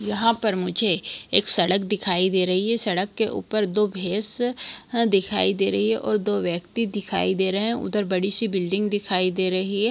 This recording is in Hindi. यहाँ पर मुझे एक सड़क दिखाई दे रही है सड़क के ऊपर दो भैंस ह दिखाई दे रही है और दो व्यक्ति दिखाई दे रहे है उधर बड़ी सी बिल्डिंग दिखाई दे रही है।